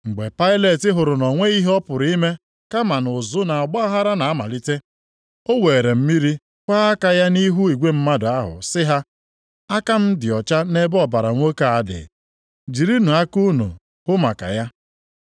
Mgbe Pailet hụrụ na o nweghị ihe ọ pụrụ ime, kama na ụzụ na ọgbaaghara na-amalite. O weere mmiri kwọọ aka ya nʼihu igwe mmadụ ahụ sị ha, “Aka m dị ọcha nʼebe ọbara nwoke a dị. Jirinụ aka unu hụ maka ya.”